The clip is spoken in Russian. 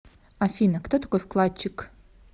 афина кто такой вкладчик